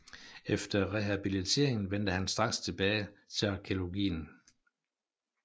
Efter rehabiliteringen vendte han straks tilbage til arkæologien